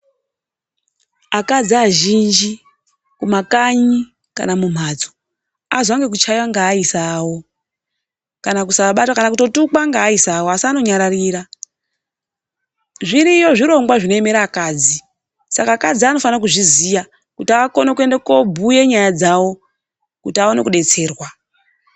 Akadzi azhinji kumakanyi kana mumhatso, azwa ngekuchaiwa ngeaisa awo; kana kusabatwa; kana kutotukwa ngeaisa awo asi anonyararira. Zviriyo zvirongwa zvinoemera akadzi, saka akadzi anofana kuzviziya kuti anokona kuende koobhuye nyaya dzawo kuti aone kudetserwa.